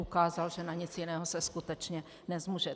Ukázal, že na nic jiného se skutečně nezmůže.